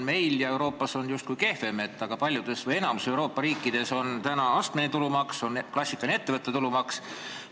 Kas siis Euroopas on justkui kehvem, sest enamikus Euroopa riikides on astmeline tulumaks ja klassikaline ettevõtte tulumaks?